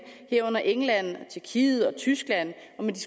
herunder england tyrkiet og tyskland